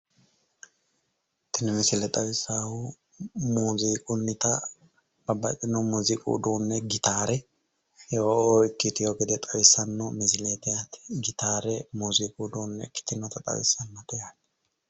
Tinni misille xawisahu muziiqunnita babbaxitino muziiqu uduune gitaare ikiteo gede awisano misileeti yate gitaare muziiqu uduune ikkitinotta xawisano yaate